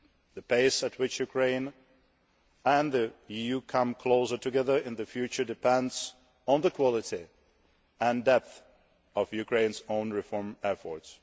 The pace at which Ukraine and the EU come closer together in the future depends on the quality and depth of Ukraine's own reform efforts.